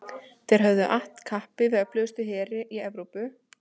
þeir höfðu att kappi við öflugustu heri evrópu og sigrað þá auðveldlega